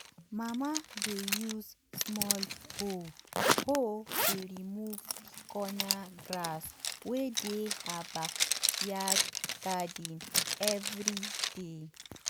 mama dey use small hoe hoe dey remove the corner grass wey dey her backyard garden every day.